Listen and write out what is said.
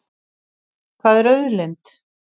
Hvað er auðlind?